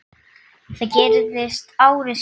Það gerðist ári síðar.